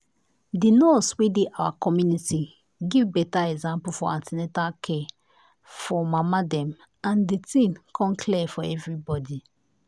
the nurse wey dey our community give better example for an ten atal care for mama dem and the thing come clear for everybody.